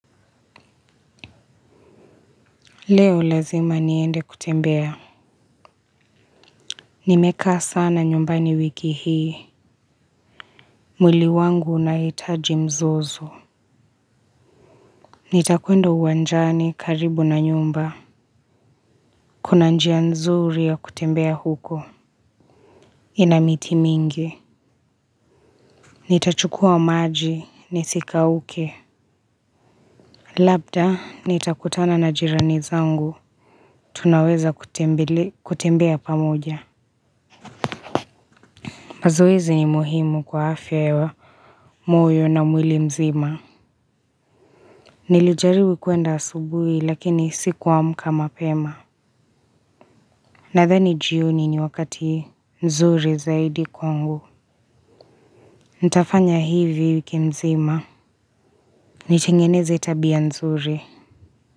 Leo lazima niende kutembea nimekaa sana nyumbani wiki hii mwili wangu unaitaji mzozo nitakwenda uwanjani karibu na nyumba kuna njia nzuri ya kutembea huko ina miti mingi nitachukua maji nisi kauke labda nitakutana na jirani zangu tunaweza kutembea pamoja mazoezi ni muhimu kwa afya ya moyo na mwili mzima. Nilijaribj kuenda asubuhi lakini sikuamka mapema. Nadhani jioni ni wakati nzuri zaidi kwangu. Ntafanya hivi wiki mzima. Nitengeneze tabia nzuri.